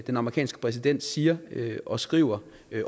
den amerikanske præsident siger og skriver